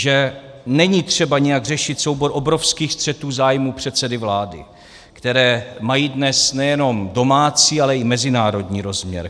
Že není třeba nějak řešit soubor obrovských střetů zájmů předsedy vlády, které mají dnes nejenom domácí, ale i mezinárodní rozměr.